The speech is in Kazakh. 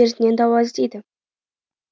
дертіне дауа іздейді